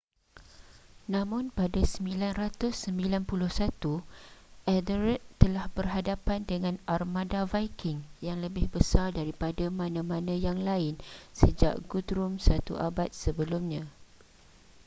namun pada 991 ethelred telah berhadapan dengan armada viking yang lebih besar daripada mana-mana yang lain sejak guthrum satu abad sebelumnya